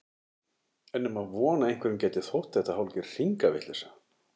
Er nema von að einhverjum gæti þótt þetta hálfgerð hringavitleysa?